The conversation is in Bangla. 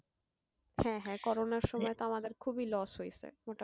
হ্যাঁ হ্যাঁ করোনার সময় তো আমাদের খুবই loss হয়েছে, মোটামুটি,